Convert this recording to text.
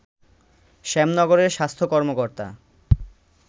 শ্যামনগরের স্বাস্থ্য কর্মকর্তা